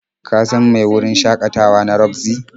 Ka san mai wurin shakatawa na Roxy?